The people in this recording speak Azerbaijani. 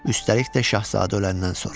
Üstəlik də Şahzadə öləndən sonra.